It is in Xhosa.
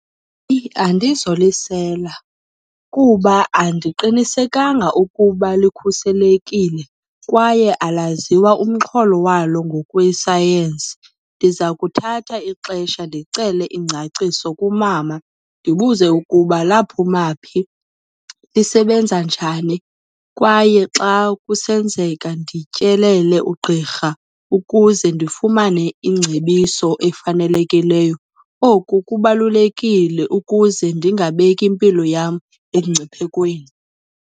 Andizolisela kuba andiqinisekanga ukuba likhuselekile kwaye alaziwa umxholo walo ngokwesayensi. Ndiza kuthatha ixesha ndicele iingcaciso kumama, ndibuze ukuba laphuma phi, lisebenza njani. Kwaye xa kusenzeka ndityelele ugqirha ukuze ndifumane iingcebiso efanelekileyo. Oku kubalulekile ukuze ndingabeki impilo yam emngciphekweni.